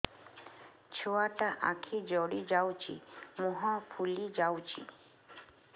ଛୁଆଟା ଆଖି ଜଡ଼ି ଯାଉଛି ମୁହଁ ଫୁଲି ଯାଉଛି